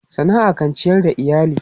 Sana'a kan ciyar da iyali.